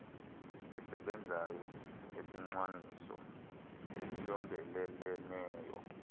esebenzayo esicwangciso esiyondeleleneyo